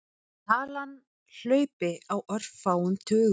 Talan hlaupi á örfáum tugum.